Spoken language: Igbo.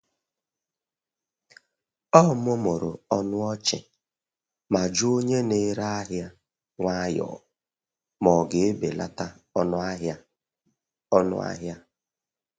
Ọ mụmụrụ ọnụ ọchị ma jụọ onye na-ere ahịa nwayọọ ma ọ ga-ebelata ọnụ ahịa. ọnụ ahịa.